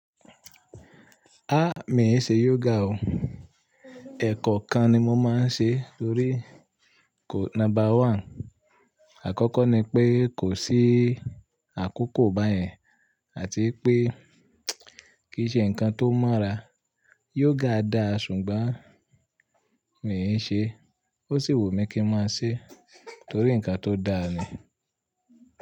A! Mi e ṣe yoga o. Ẹ̀ kan kan ni mo máa ń ṣe torí ko number one. Àkọ́kọ́ ni pé kò sí àkókò báyẹn àti pé kì í ṣe nǹkan tó mọ́ra. Yoga dáa ṣùgbọ́n mi i ṣe é, ó sì wù mí kí n máa ṣe torí nǹkan tó dáa ni.